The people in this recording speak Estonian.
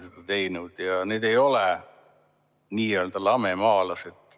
Ja need inimesed ei ole n-ö lamemaalased.